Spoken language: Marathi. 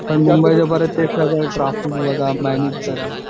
मुंबईला परत ते सगळं ट्रॅफीक बघा मॅनेज करा.